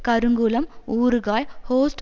கருங்குளம் ஊறுகாய் ஹொஸ்ட்